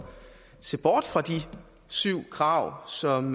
se bort fra de syv krav som